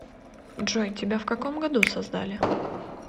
джой тебя в каком году создали